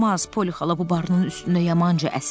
Poli xala bu barının üstündə yamanca əsir.